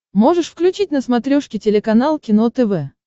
можешь включить на смотрешке телеканал кино тв